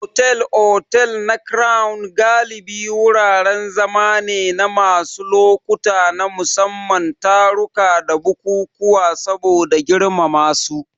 Otal-otal na Crown galibi wuraren zama ne na wasu lokuta na musamman, taruka da bukukuwa saboda girmansu.